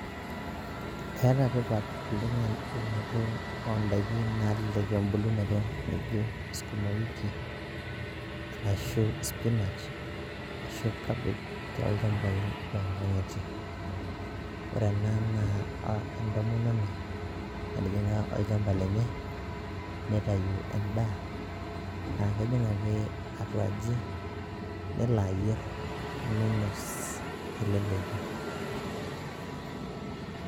Eeta tipat oleng' eunoto o ndaiki nalelek embulunoto naijo sukuma wiki, anashu spinach, ashu cabbage tolchambai loonkang'itie. Ore ena naa entomononi natijing'a olchamba lenye nitayu endaa naake ejing' ake atua aji nelo ayer ninos te leleki.